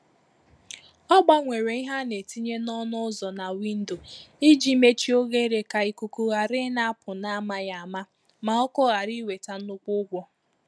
Ọ gbanwere ihe a na-etinye n’ọnụ ụzọ na windo iji mechie oghere ka ikuku ghara ịna-apụ n’amaghị ama, ma ọkụ ghara iweta nnukwu ụgwọ